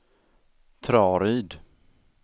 Traryd